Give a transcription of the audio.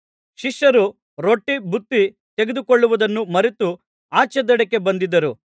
ಶಿಷ್ಯರು ರೊಟ್ಟಿ ಬುತ್ತಿ ತೆಗೆದುಕೊಳ್ಳುವುದನ್ನು ಮರೆತು ಆಚೇ ದಡಕ್ಕೆ ಬಂದಿದ್ದರು